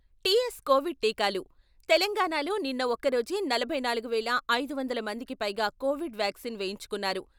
TS covid టీకాలు తెలంగాణలో నిన్న ఒక్క రోజే నలభై నాలుగు వేల ఐదు వందల మందికి పైగా కోవిడ్ వాక్సిన్ వేయించుకున్నారు.